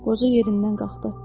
Qoca yerindən qalxdı.